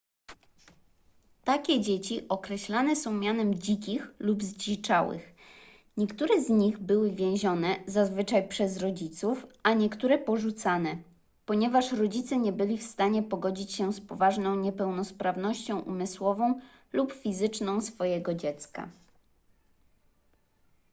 takie dzieci określane są mianem dzikich” lub zdziczałych”. niektóre z nich były więzione zazwyczaj przez rodziców a niektóre porzucane ponieważ rodzice nie byli w stanie pogodzić się z poważną niepełnosprawnością umysłową lub fizyczną swojego dziecka